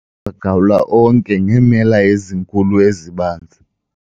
wagawula onke ngeemela ezinkulu ezibanzi